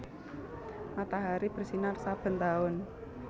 Matahari bersinar saben taun